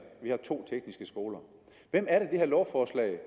og to tekniske skoler hvem er det det her lovforslag